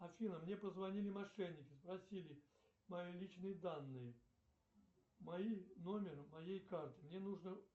афина мне позвонили мошенники просили мои личные данные мои номер моей карты мне нужно